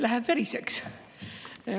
Läheb veriseks.